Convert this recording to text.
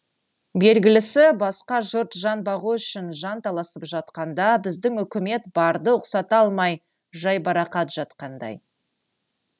белгілісі басқа жұрт жан бағу үшін жанталасып жатқанда біздің үкімет барды ұқсата алмай жайбарақат жатқандай